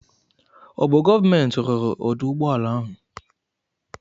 Ọ bụ gọọmenti ruru ọdụ ụgbọala ahụ?